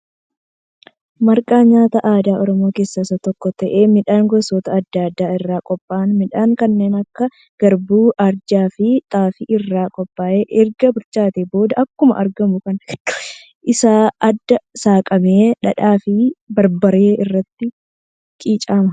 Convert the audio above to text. Marqaan nyaata aadaa Oromoo keessa isa tokko ta'ee midhaan gosoota adda addaa irraa qophaa'aa. Midhaan kanneen akka qarbuu, ajjaa fi xaafii irraa qophaa'a. Erga bilchaateen booda akkuma argamu kana gidduun isaa addaan saaqamee dhadhaa fi barbaree irratti qicama.